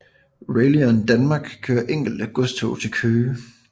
Railion Danmark kører enkelte godstog til Køge